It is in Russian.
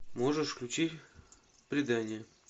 можешь включить предание